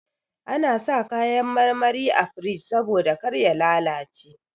Ana sa kayan marmari a firij saboda kar ya lalace.